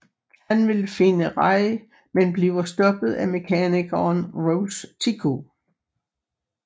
Han vil finde Rey men bliver stoppet af mekanikeren Rose Tico